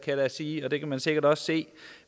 jeg da sige det kan man sikkert også se